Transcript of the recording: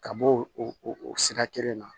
Ka bɔ o sira kelen na